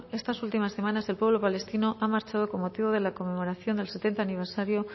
estas últimas semanas el pueblo palestino ha marchado con motivo de la conmemoración del setenta aniversario